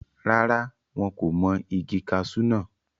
rárá, wọn kò mọ igi kasú náà